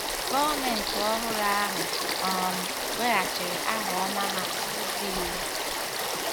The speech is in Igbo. Gọọmenti ọhụrụ ahụ um weghachiri aha ọma ha n’ụzọ iwu.